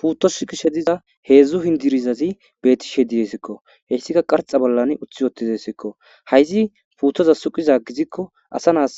Puuttos sukishe diza heedzdzu hindirizazi beetishe didesikko heyssika qarxa bollan uththi wotidesikko hayzi puuttoza suqiza gizikko asa naas